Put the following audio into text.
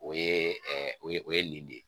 O ye o ye o ye nin de ye